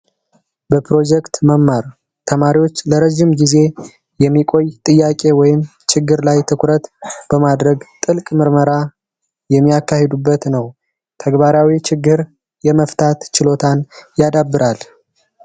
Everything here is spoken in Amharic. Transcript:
በፕሮጀክት መማር ተማሪዎች ለረጅም ጊዜ የሚቆይ ጥያቄ ወይም ችግር ላይ ትኩረት በማድረግ ጥልቅ ምርመራ የሚያካሂዱበት ነው። ተግባራዊ ችግር የመፍታት ችሎታን ያዳብራል።